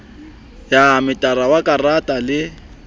ya metara wa karata le